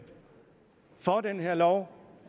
for den her lov